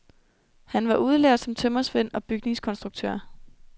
Han var udlært som tømrersvend og bygningskonstruktør.